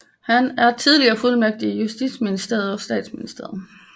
Han er tidligere fuldmægtig i justitsministeriet og statsministeriet